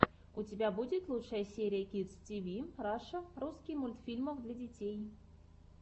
у тебя будет лучшая серия кидс тиви раша русский мультфильмов для детей